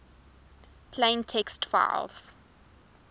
plain text files